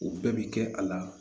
U bɛɛ bi kɛ a la